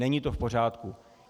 Není to v pořádku.